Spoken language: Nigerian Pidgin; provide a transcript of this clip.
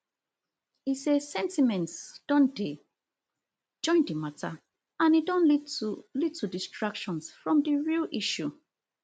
e say sentiments don dey join di mata and e don lead to lead to distractions from di real issue